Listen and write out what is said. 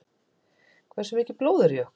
Hversu mikið blóð er í okkur?